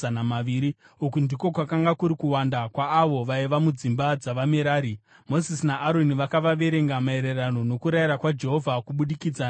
Uku ndiko kwakanga kuri kuwanda kwaavo vaiva mudzimba dzavaMerari. Mozisi naAroni vakavaverenga maererano nokurayira kwaJehovha kubudikidza naMozisi.